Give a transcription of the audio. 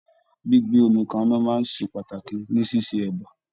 Gbígbé omi kaná ṣe pàtàkì ní ṣíṣe ẹ̀bá.